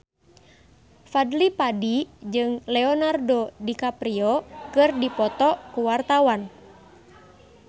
Fadly Padi jeung Leonardo DiCaprio keur dipoto ku wartawan